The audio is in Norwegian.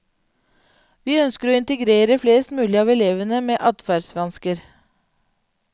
Vi ønsker å integrere flest mulig av elevene med adferdsvansker.